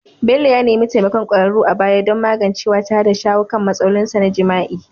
Bello ya nemi taimakon kwararru a baya don magancewa tare da shawo kan matsalolinsa na jima'i.